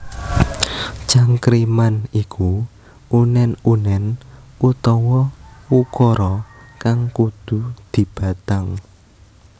Cangkriman iku unèn unèn utawa ukara kang kudu dibatang